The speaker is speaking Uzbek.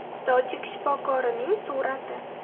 Tojik shifokorining surati.